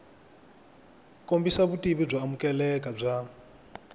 kombisa vutivi byo amukeleka bya